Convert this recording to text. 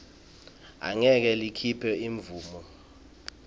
angeke likhiphe imvumo